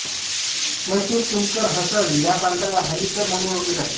मैसूर तुमकुर हसन या प्रांताला हल्लीकर म्हणून ओळखले जाते